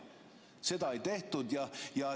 Seda ei tehtud.